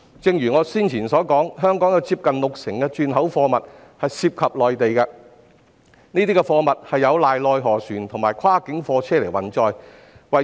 正如我先前所說，香港近六成轉口貨物涉及內地，並依靠內河船及跨境貨車運載這些貨物。